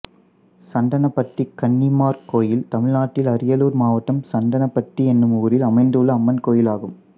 சந்தனப்பட்டி கன்னிமார் கோயில் தமிழ்நாட்டில் அரியலூர் மாவட்டம் சந்தனப்பட்டி என்னும் ஊரில் அமைந்துள்ள அம்மன் கோயிலாகும்